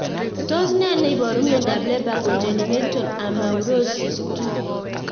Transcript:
Tos nee neiparu miondop Leber congenital amaurosis 2